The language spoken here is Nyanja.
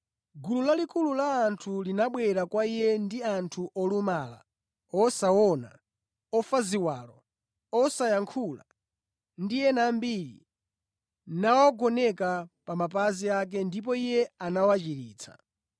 Gulu lalikulu la anthu linabwera kwa Iye ndi anthu olumala, osaona, ofa ziwalo, osayankhula ndi ena ambiri nawagoneka pa mapazi ake ndipo Iye anawachiritsa.